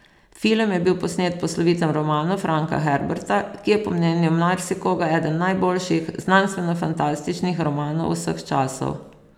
Film je bil posnet po slovitem romanu Franka Herberta, ki je po mnenju marsikoga eden najboljših znanstvenofantastičnih romanov vseh časov.